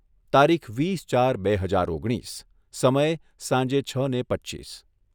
તારીખ વીસ ચાર બે હજાર ઓગણીસ. સમય સાંહે છને પચ્ચીસ